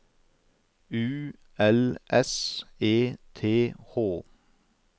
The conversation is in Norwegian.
U L S E T H